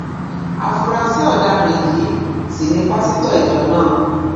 áfúrásì ọdaràn yìí sì ni pásítọ ìjọ náà